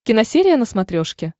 киносерия на смотрешке